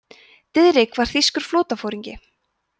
diðrik var þýskur flotaforingi